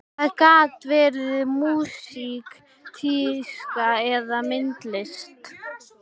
Það gat verið músík, tíska eða myndlist.